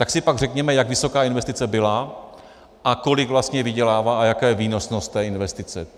Tak si pak řekněme, jak vysoká investice byla a kolik vlastně vydělává a jaká je výnosnost té investice.